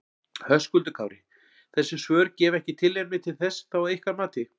Höskuldur Kári: Þessi svör gefa ekki tilefni til þess þá að ykkar mati?